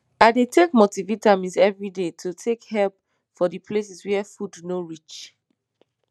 i dey take multivitamin every day to take help for the places where food no reach